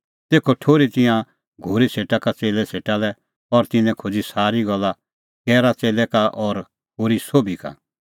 तेखअ ठुर्ही तिंयां घोरी सेटा का च़ेल्लै सेटा लै और तिन्नैं खोज़ी सारी गल्ला गैरा च़ेल्लै का और होरी सोभी का